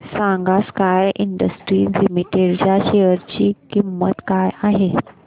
सांगा Sky Industries Limited च्या share ची किंमत काय आहे